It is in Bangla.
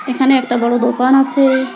এখানে একটা বড় দোকান আছে।